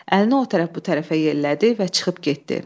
Əlini o tərəf, bu tərəfə yellədi və çıxıb getdi.